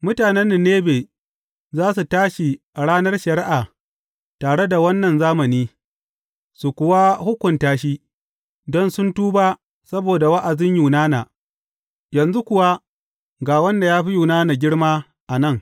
Mutanen Ninebe za su tashi a ranar shari’a tare da wannan zamani, su kuwa hukunta shi; don sun tuba saboda wa’azin Yunana, yanzu kuwa ga wanda ya fi Yunana girma a nan.